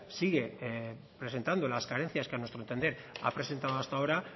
sigue presentando las carencias que a nuestro entender ha presentado hasta ahora